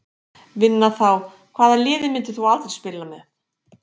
Vinna þá Hvaða liði myndir þú aldrei spila með?